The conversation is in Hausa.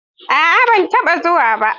A'a ban taɓa zuwa ba.